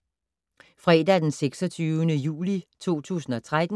Fredag d. 26. juli 2013